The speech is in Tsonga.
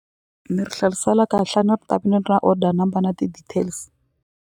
Ni ri kahle a ni ri ta ni ri order number na ti-details.